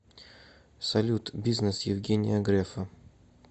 салют бизнес евгения грефа